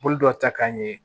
Bolo dɔ ta k'an ye